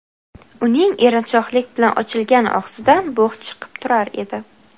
Uning erinchoqlik bilan ochilgan og‘zidan bug‘ chiqib turar edi.